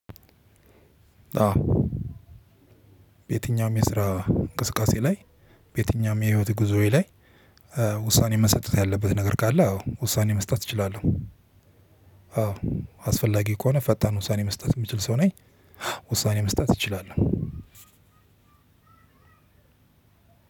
በየትኛውም በስራ እንቅስቃሴ ላይ የትኛውም የህይወት ጉዞዬ ላይ ውሳኔ መሰጠት ያለበት ነገር ካለ ውሳኔ መስጠት እችላለሁ። አስፈላጊ ከሆነ ፈጣን ውሳኔ መስጠት የምችል ሰው ነኝ። ውሳኔ መስጠት እችላለሁ።